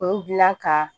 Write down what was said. O dilan ka